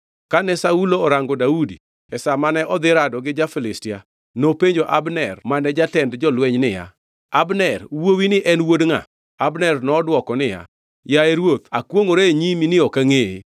Kane Saulo orango Daudi e sa mane odhi rado gi ja-Filistia, nopenjo Abner mane jatend jolweny niya, “Abner wuowini en wuod ngʼa?” Abner nodwoko niya “Yaye ruoth, akwongʼora e nyimi ni ok angʼeye.”